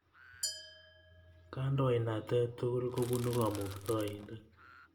Kandoinatet tukul kopunu Kamuktaindet